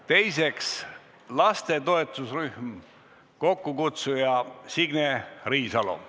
Teiseks, laste toetusrühm, kokkukutsuja Signe Riisalo.